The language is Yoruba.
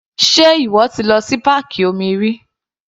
Sé ìwọ ti lọ sí páàkì omi rí?